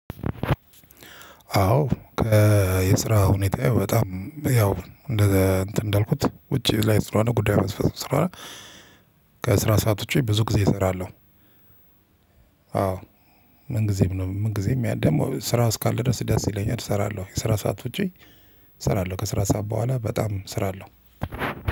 አዎ የስራ ሁኔታ በጣም ያው እንደ እንትን እንዳልኩት ውጪ ላይ ስራ ነው ጉዳይ ማስፈፀም ስራ። ከስራ ሰዓት ውጪ ብዙ ጊዜ እሰራለሁ። አዎ? ምን ጊዜም ነው ምን ጊዜም ያ ደግሞ ስራ እስካለ ድረስ ደስ ይለኛል እሰራለሁ የስራ ሰዓት ውጪ። እሰራለሁ ከስራ ሰዓት በኋላ በጣም እሰራለሁ።